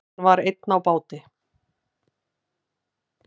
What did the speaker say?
Hann var einn á báti.